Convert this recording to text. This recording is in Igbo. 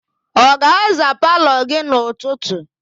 Ọ ga-aza palọ gị n'ụtụtụ?